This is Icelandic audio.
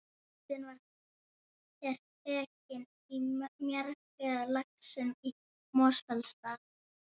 Myndin er tekin í mýrarjaðri við Laxnes í Mosfellsdal.